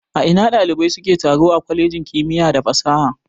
A ina ɗalibai suke taro a kwalejin kimiya da fasaha.